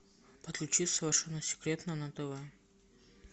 подключи совершенно секретно на тв